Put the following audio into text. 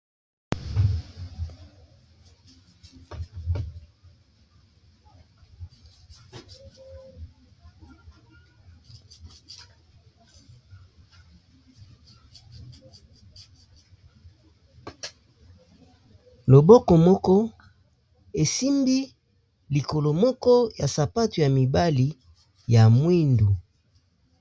loboko moko esimbi likolo moko ya sapato ya mibali ya mwindu